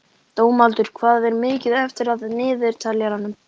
Dómaldur, hvað er mikið eftir af niðurteljaranum?